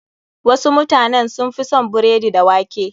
Wasu mutanen sun fi son biredi da wake.